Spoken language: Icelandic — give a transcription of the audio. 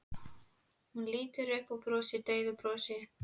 Hún lítur upp og brosir daufu brosi.